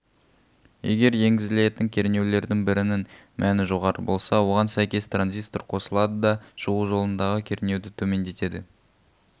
егер енгізілетін кернеулердің бірінің мәні жоғары болса оған сәйкес транзистор қосылады да шығу жолындағы кернеуді төмендетеді